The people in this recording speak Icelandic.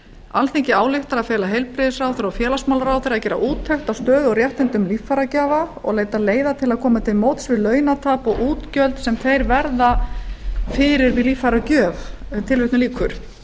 alþingi ályktar að fela heilbrigðisráðherra og félagsmálaráðherra að gera úttekt á stöðu og réttindum líffæragjafa og leita leiða til að koma til móts við launatap og útgjöld sem þeir verða fyrir við líffæragjöf